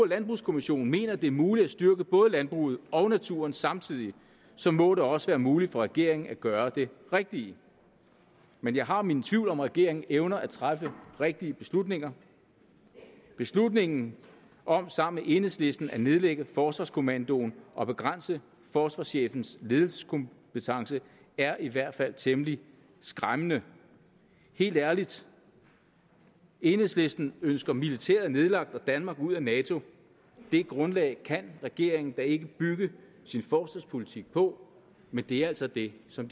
landbrugskommissionen mener at det er muligt at styrke både landbruget og naturen samtidig så må det også være muligt for regeringen at gøre det rigtige men jeg har mine tvivl om om regeringen evner at træffe rigtige beslutninger beslutningen om sammen med enhedslisten at nedlægge forsvarskommandoen og begrænse forsvarschefens ledelseskompetence er i hvert fald temmelig skræmmende helt ærligt enhedslisten ønsker militæret nedlagt og danmark ud af nato det grundlag kan regeringen da ikke bygge sin forsvarspolitik på men det er altså det som